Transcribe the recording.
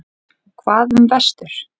Hvað um vestur?